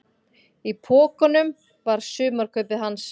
Í pokunum var sumarkaupið hans.